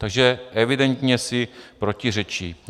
Takže evidentně si protiřečí.